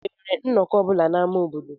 Enwere nnọkọ ọ bụla n'ámá obodo?